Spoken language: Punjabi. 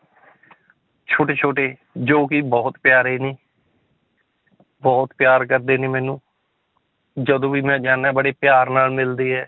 ਛੋਟੇ ਛੋਟੇ ਜੋ ਕਿ ਬਹੁਤ ਪਿਆਰੇ ਨੇ ਬਹੁਤ ਪਿਆਰ ਕਰਦੇ ਨੇ ਮੈਨੂੰ ਜਦੋਂ ਵੀ ਮੈਂ ਜਾਨਾ ਹੈਂ ਬੜੇ ਪਿਆਰ ਨਾਲ ਮਿਲਦੇ ਹੈ।